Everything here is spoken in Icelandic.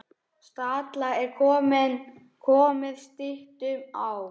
Stalla er komið styttum á.